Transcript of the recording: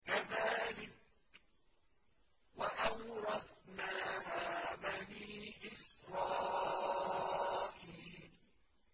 كَذَٰلِكَ وَأَوْرَثْنَاهَا بَنِي إِسْرَائِيلَ